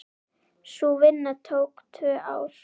Sú vinna tók tvö ár.